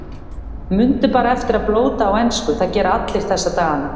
Mundu bara eftir að blóta á ensku, það gera allir þessa dagana.